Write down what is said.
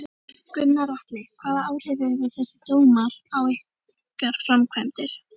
Gunnar Atli: Hvaða áhrif hefur þessi dómur á ykkar framkvæmdir?